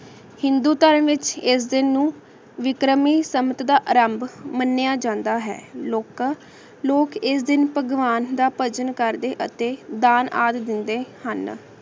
ਹਿੰਦੂ ਟੀਮ ਵਿਚ ਏਸ ਦਿਨ ਨੂ ਵਿਕ੍ਰਮੀ ਸਮਾਕ ਦਾ ਆਰੰਭ ਮਾਨ੍ਯ ਜਾਂਦਾ ਹੈ ਲੋਕਾਂ ਲੋਕ ਏਸ ਦਿਨ ਭਗਵਾਨ ਦਾ ਭਾਗਾਂ ਕਰਦੇ ਅਤੀ ਦਾਨ ਆਂ ਦੇਂਦੇ ਹਨ